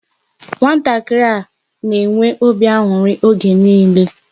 Nwatakịrị a na-enwe obi aṅụrị oge niile.